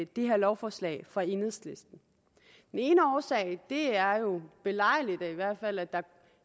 det her lovforslag fra enhedslisten den ene årsag er jo belejligt i hvert fald at